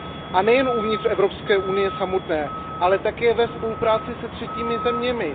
A nejen uvnitř Evropské unie samotné, ale také ve spolupráci se třetími zeměmi.